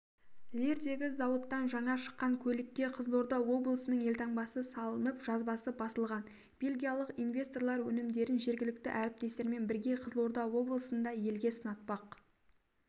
лирдегі зауыттан жаңа шыққан көлікке қызылорда облысының елтаңбасы салынып жазбасы басылған бельгиялық инвесторлар өнімдерін жергілікті әріптестермен бірге қызылорда облысында елге сынатпақ